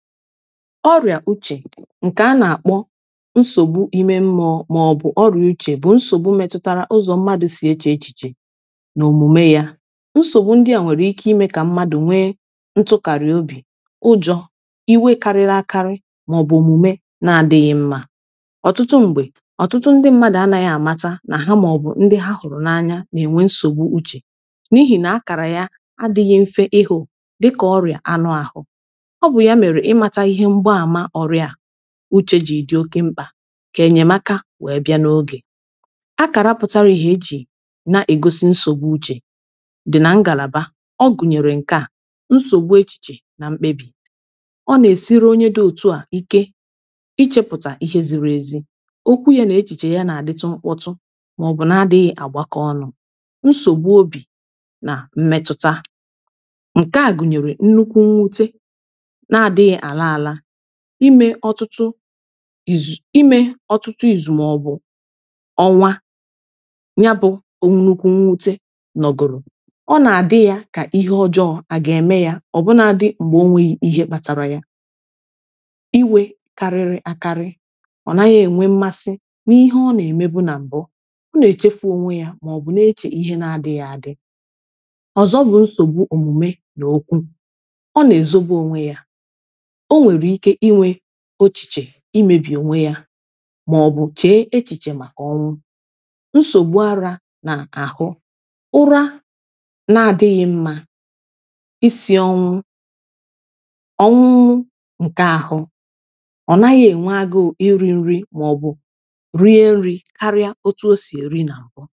ọrịa uche nke a na-akpọ nsogbu n'ime mmụọ ma ọ bụ ọrịa uche bụ nsogbu metụtara ụzọ mmadụ si eche echiche n’omume ya nsogbu ndị a nwere ike ime ka mmadụ nwee ntụkarị obi ụjọ iwe kariri akari ma ọ bụ omume na-adịghị mma ọtụtụ mgbe ọtụtụ ndị mmadụ anaghị amata na ha ma ọ bụ ndị ha hụrụ n’anya na-enwe nsogbu uche n’ihi na akara ya adịghị mfe ịhụ dịka ọrịa anụ ahụ uche ji dị oke mkpa ka enyemaka wee bịa n’oge akarapụtara ihe e ji na-egosi nsogbu uche dị na ngalaba ọ gụnyere nke a nsogbu echiche na mkpebi ọ na-esiri onye dị otu a ike ichepụta ihe ziri ezi okwu ya na echiche y ana-adịtụ mkpọtụ ma ọ bụ na-adịghị agbakọ ọnụ nsogbu obi na mmetụta nke a gụnyere nnukwu mwute ime ọtụtụ izu ime ọtụtụ izu ma ọ bụ ọnwa ya bụ onnukwu mwute nọgoro ọ na-adị ya ka ihe ọjọọ a ga-eme ya ọ bụ na-adị mgbe onwe ihe kpatara ya iwe karịrị akarị ọ naghị enwe mmasị n’ihe ọ na-eme bụ na mbụ na-eche onwe ya ma ọ bụ na-eche ihe na-adị ya adị ọzọ bụ nsogbu omume n’okwu ọ na-ezoba onwe ya o nwere ike inwe echiche imebi onwe ya maọbụ chee echiche maka ọnwụ nsogbu ara n’ahụ ụra na-adịghị mma isi ọnwụ ọnwụnwụ nke ahụ ọ naghị enwe agụụ iri nri maọbụ rie nri karịa otu o si eri na mpụ